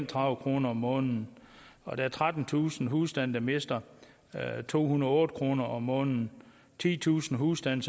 tredive kroner om måneden og trettentusind husstande der mister to hundrede og otte kroner om måneden titusind husstande